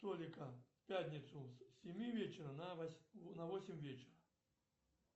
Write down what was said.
столика в пятницу с семи вечера на восемь вечера